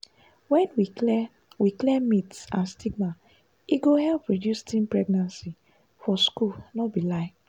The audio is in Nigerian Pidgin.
when we clear we clear myths and stigma e go help reduce teen pregnancy for schools no be lie.